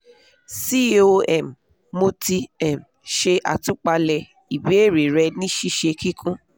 com mo ti um ṣe àtúpalẹ̀ ìbéèrè rẹ ní ṣíṣe kíkún